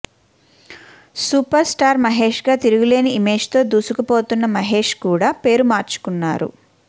super star మహేష్గా తిరుగులేని ఇమేజ్తో దూసుకుపోతున్న మహేష్ కూడా పేరు మార్చుకున్నారు